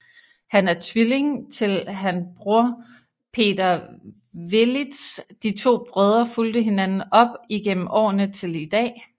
Han er tvilling til han bror Peter Velits De to brødre fulgte hinanden op igennem årene til i dag